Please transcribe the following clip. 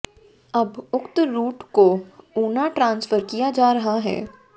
अब उक्त रूट को ऊना ट्रांसफर किया जा रहा है